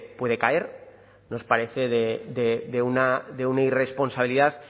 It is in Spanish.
puede caer nos parece de una irresponsabilidad